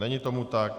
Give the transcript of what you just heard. Není tomu tak.